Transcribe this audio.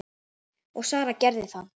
Og Sara gerði það.